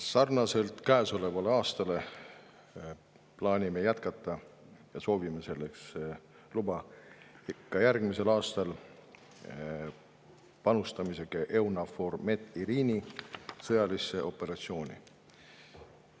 Sarnaselt käesoleva aastaga plaanime jätkata – ja soovime selleks luba – ka järgmisel aastal panustamist EUNAVFOR Med/Irini sõjalisse operatsiooni.